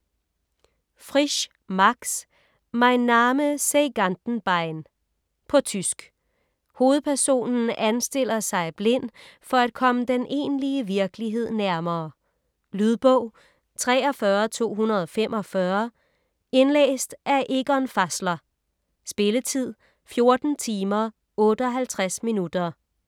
Frisch, Max: Mein Name sei Gantenbein På tysk. Hovedpersonen anstiller sig blind for at komme den egentlige virkelighed nærmere. Lydbog 43245 Indlæst af Egon Fässler. Spilletid: 14 timer, 58 minutter.